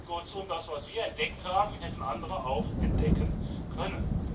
Kurzum Das, was wir entdeckt haben, hätten andere auch entdecken können.